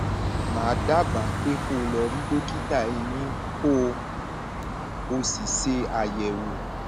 màá dábàá pé kó o lọ rí dókítà eyín kó o sì ṣe àyẹwò